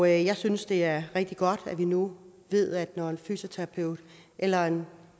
jeg synes det er rigtig godt at vi nu ved at når en fysioterapeut eller en